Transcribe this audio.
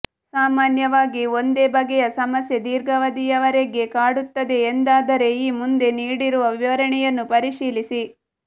ಸಾಮಾನ್ಯವಾಗಿ ಒಂದೇ ಬಗೆಯ ಸಮಸ್ಯೆ ದೀರ್ಘಾವಧಿಯವರೆಗೆ ಕಾಡುತ್ತದೆ ಎಂದಾದರೆ ಈ ಮುಂದೆ ನೀಡಿರುವ ವಿವರಣೆಯನ್ನು ಪರಿಶೀಲಿಸಿ